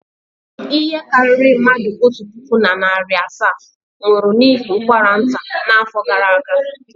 Ihe karịrị mmadụ otu puku na narị asaa nwụrụ n'ihi ụkwara nta n'afọ gara aga.